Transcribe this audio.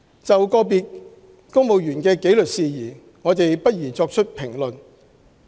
就個別公務員的紀律事宜，我們不宜作出評論。